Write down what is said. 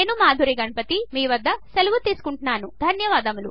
నేను మాధురి మీ వద్ద సెలవు తీసుకుంటున్నాను ధన్యవాదములు